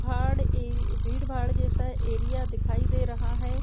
भाड़ ए भीड़-भाड़ जैसा एरिया दिखाई दे रहा है।